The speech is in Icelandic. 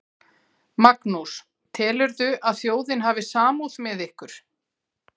Magnús: Telurðu að þjóðin hafi samúð með ykkur?